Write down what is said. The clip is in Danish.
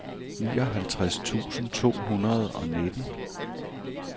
nioghalvtreds tusind to hundrede og nitten